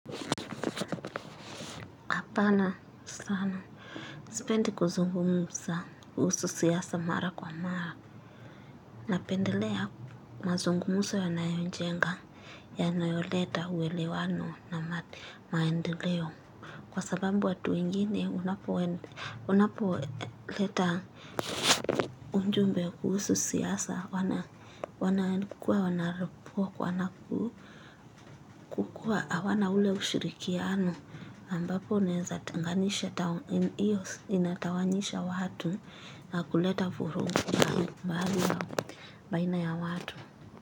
Hapana sana. Sipendi kuzungumuza kuhusu siasa mara kwa mara. Napendelea mazungumuzo yanayojenga, yanayoleta uelewano na maendeleo. Kwa sabambu watu wengine unapo, unapo leta unjumbe kuhusu siasa wana wana kukua wanarepo kwa wana kukua hawana ule ushirikiano. Ambapo naeza tenganisha, hio inatawanisha watu nakuleta vurugu na mahali baina ya watu.